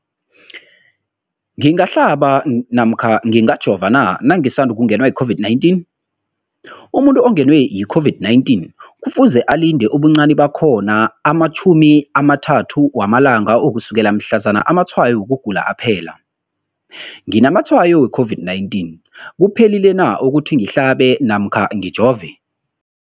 ngingahlaba namkha ngingajova na nangisandu kungenwa yi-COVID-19? Umuntu ongenwe yi-COVID-19 kufuze alinde ubuncani bakhona ama-30 wama langa ukusukela mhlazana amatshayo wokugula aphela. Umbuzo, nginamatshayo we-COVID-19, kuphephile na ukuthi ngihlabe namkha ngijove?